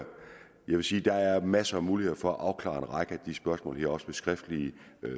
vil sige der er masser af muligheder for at afklare en række af de spørgsmål her også skriftlige